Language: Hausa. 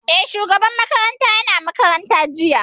Eh, shugaban makarantar ya na makaranta jiya